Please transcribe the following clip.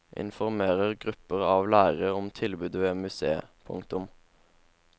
Informerer grupper av lærere om tilbudet ved museet. punktum